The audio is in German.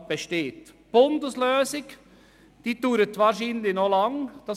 Die Bundeslösung steht wahrscheinlich noch lange aus.